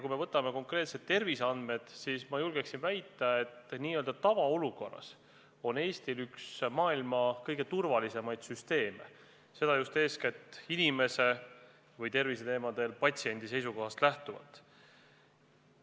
Kui võtame ette konkreetselt terviseandmed, siis ma julgen väita, et n-ö tavaolukorras on Eestil üks maailma kõige turvalisemaid süsteeme, seda eeskätt inimese või patsiendi seisukohast lähtuvalt.